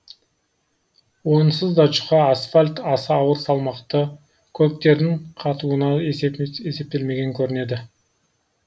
онсыз да жұқа асфальт аса ауыр салмақты көліктердің қатуына есептелмеген көрінеді